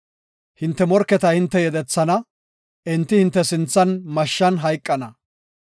Hinte morketa hinte yedethana; enti hinte sinthan mashshan hayqana.